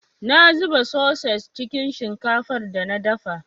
Na zuba soi-sos cikin shinkafar da na dafa.